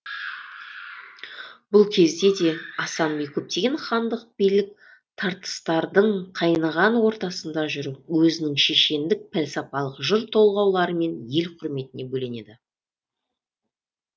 бұл кезде де асан би көптеген хандық билік тартыстардың қайнаған ортасында жүріп өзінің шешендік пәлсапалық жыр толғауларымен ел құрметіне бөленеді